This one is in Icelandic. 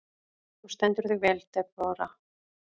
Þú stendur þig vel, Debóra!